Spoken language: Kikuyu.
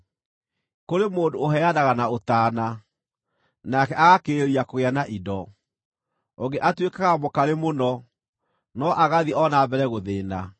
Kũrĩ mũndũ ũheanaga na ũtaana, nake agakĩrĩrĩria kũgĩa na indo; ũngĩ atuĩkaga mũkarĩ mũno, no agathiĩ o na mbere gũthĩĩna.